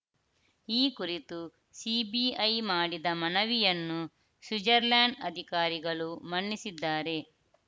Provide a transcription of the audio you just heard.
ಈ ಕುರಿತು C B I ಮಾಡಿದ ಮನವಿಯನ್ನು ಸ್ವಿಜರ್ಲೆಂಡ್‌ ಅಧಿಕಾರಿಗಳು ಮನ್ನಿಸಿದ್ದಾರೆ